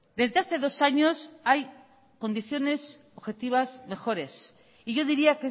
desde hace dos años hay condiciones objetivas mejores y yo diría